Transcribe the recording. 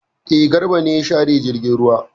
E, Garba ne ya share jirgin ruwa.